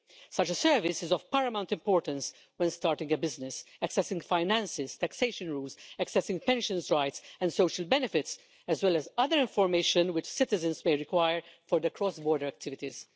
Such a service is of paramount importance when starting a business, accessing finances, taxation rules, accessing pensions rights and social benefits, as well as other information which citizens may require for their cross border activities.